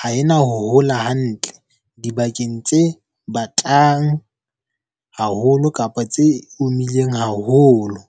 ha ena ho hola hantle dibakeng tse batang haholo kapa tse omileng haholo.